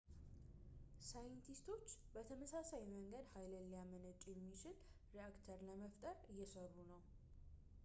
ሳይንቲስቶች በተመሳሳይ መንገድ ኃይል ሊያመነጭ የሚችል ሬአክተር ለመፍጠር እየሰሩ ነው